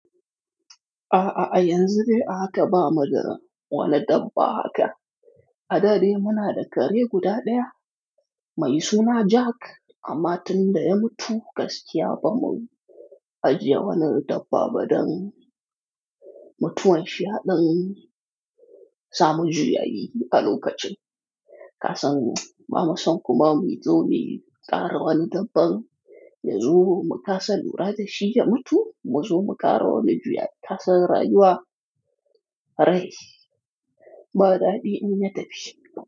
A'a, ayanzu dai ahaka ba Mu da wani dabba haka. A dade muna da kare guda ɗaya mai suna Jack amma tun da ya mutu gaskiya bamu ajiye wani dabba ba don mutuwan shi ya ɗan samu juyayi a lokacin. Kasan bamu San kuma muzo muƙara wani dabban yazo mu kasa lura da shi ya mutu mu zo muƙara wani juyayi kasan rayuwa. Rai ba daɗi in ya tafi.